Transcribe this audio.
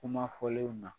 Kuma fɔlenw na